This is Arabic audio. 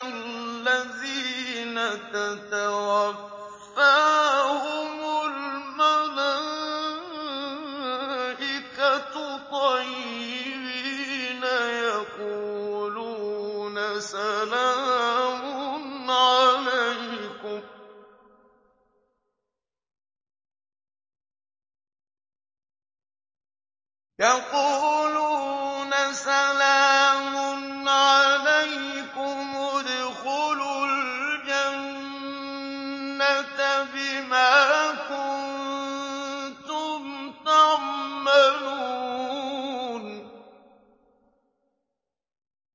الَّذِينَ تَتَوَفَّاهُمُ الْمَلَائِكَةُ طَيِّبِينَ ۙ يَقُولُونَ سَلَامٌ عَلَيْكُمُ ادْخُلُوا الْجَنَّةَ بِمَا كُنتُمْ تَعْمَلُونَ